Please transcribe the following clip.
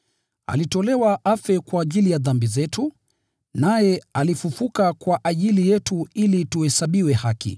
Alitolewa afe kwa ajili ya dhambi zetu, naye alifufuliwa kutoka mauti ili tuhesabiwe haki.